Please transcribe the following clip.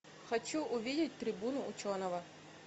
хочу увидеть трибуну ученого